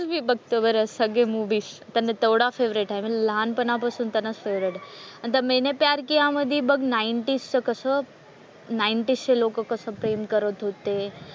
मी बघते बरं सगळे मुव्हीज कारण तेवढा फेव्हरेट आहे म्हणजे लहापणापासून असतानाच फेव्हरेट आहे. आणि त्या मैंने प्यार किया मधी बघ नाईंटीज चं कसं नाईंटीजचे लोकं कसं प्रेम करत होते.